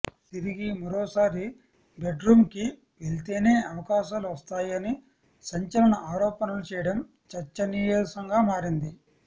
తిరిగి మరోసారి బెడ్రూంకి వెళ్తేనే అవకాశాలు వస్తాయని సంచలన ఆరోపణలు చేయడం చర్చనీయాంశంగా మారింది